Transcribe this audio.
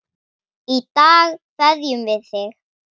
Í dag kveðjum við þig.